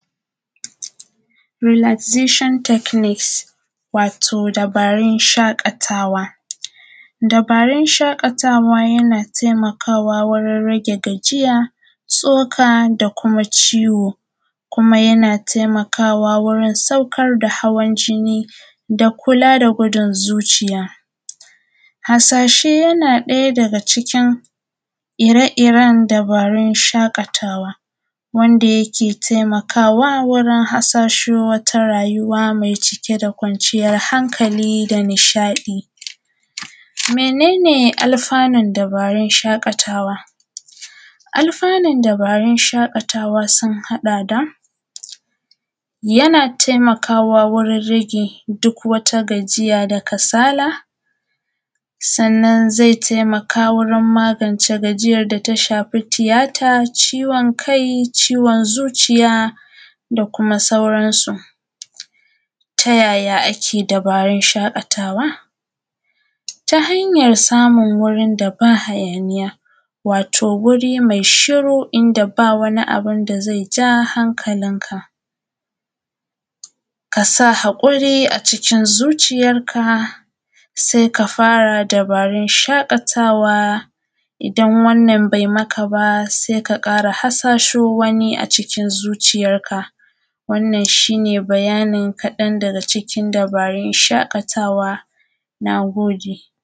Rilastishon tekniks, wato dabarun shaƙatawa, dabarun shaƙatawa yana taimakawa wajen rage gajiya tsoka da kuma ciwo, kuma yana taimakawa wajen saukar da hawan jini da kula da bugun zuciya. Harshasho yana ɗaga cikin irin-irin dabaru na shaƙatawa, wanda yake taimakawa wajen harshasho wata rayuwa mai cike da kwanciyan hanƙali da nishaɗi. Mene ne alfa'nun dabarun shaƙatawa? Alfa'nun dabarun shaƙatawa sun haɗa da: yana taimakawa wajen rage duk wata gajiya da kasala, zai taimaka wajen magance tafiyar da ta shafi tiyata, ciwon kai, ciwon zuciya da kuma sauransu. Ta yaya ake yin dabarun shaƙatawa? Ta hanyar samun wuri da ba hayaniya wato wuri mai shiru, inda ba wani abu da ze ja hanƙalinka, ka sa haƙuri a cikin zuciyarka se ka fara dabarun shaƙatawa. Idan wannan ba yi maka ba, se ka fara harshasho wani a cikin zuciyarka, wannan shi ne bayanin ƙaɗan daga cikin bayanin dabarun shaƙatawa. Na gode.